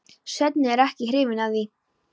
Svenni er ekki hrifinn af því.